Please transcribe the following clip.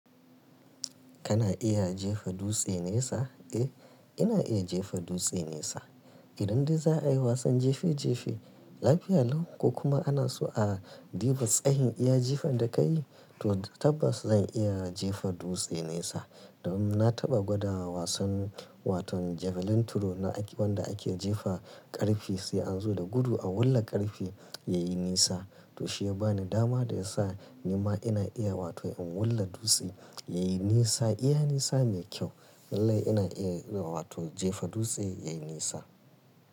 Kana iya jefa dutse nesa? Eh, ina iya jefa dutse nesa. Idan dai za a yi wasan jefe jefe, lafiya lau ko kuma ana so a duba iya tsayin iya jifan da ka yi, to tabbas zan iya jefa dutse nesa. Dan na taɓa gwada wasan wato javelin throw wanda ake jefa ƙarfe sai an zo da gudu a wulla ƙarfe yayi nesa. To shi ya ba ni dama da ya sa ni ma ina iya wato in wulla dutse yayi nesa, iya nesa mai kyau. Lallai ina iya wato jefa dutse yayi nesa.